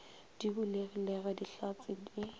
di bulegilego ge dihlatse di